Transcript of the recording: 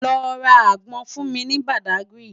Lò rá ágbòn fún mi ni Bádágiri